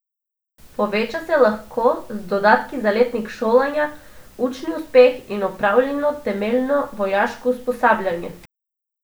Poveča se lahko z dodatki za letnik šolanja, učni uspeh in opravljeno temeljno vojaško usposabljanje.